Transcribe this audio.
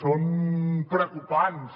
són preocupants